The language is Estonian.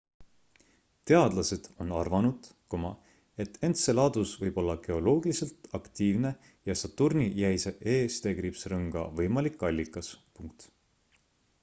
teadlased on arvanud et enceladus võib olla geoloogiliselt aktiivne ja saturni jäise e-rõnga võimalik allikas